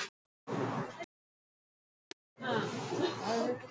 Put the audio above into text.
Nokkrir dagar eru liðnir síðan mæðgurnar áttu þetta samtal.